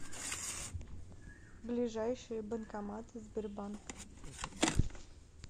ближайшие банкоматы сбербанк